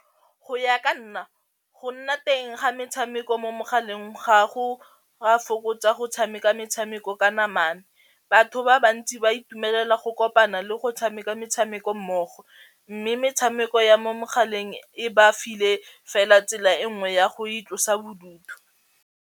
Go ya ka nna go nna teng ga metshameko mo mogaleng ga go a fokotsa go tshameka metshameko ka namana, batho ba bantsi ba itumelela go kopana le go tshameka metshameko mmogo, mme metshameko ya mo mogaleng e ba file fela tsela e nngwe ya go itlosa bodutu.